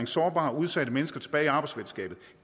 sårbare og udsatte mennesker tilbage i arbejdsfællesskabet